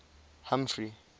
humphrey